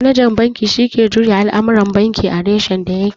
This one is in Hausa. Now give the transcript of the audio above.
Manajan banki shi ke juya al'amuran banki a reshen da ya ke